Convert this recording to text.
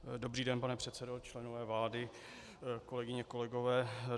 Dobrý den, pane předsedo, členové vlády, kolegyně, kolegové.